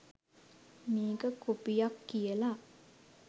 මේක කොපියක් කියලා